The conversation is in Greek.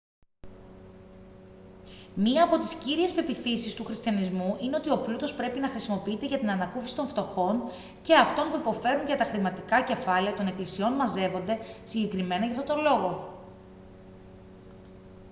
μια από τις κύριες πεποιθήσεις του χριστιανισμού είναι ότι ο πλούτος πρέπει να χρησιμοποιείται για την ανακούφιση των φτωχών και αυτών που υποφέρουν και τα χρηματικά κεφάλαια των εκκλησιών μαζεύονται συγκεκριμένα για αυτόν τον λόγο